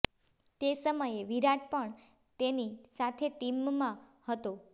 તે સમયે વિરાટ પણ તેની સાથે ટીમમાં હતો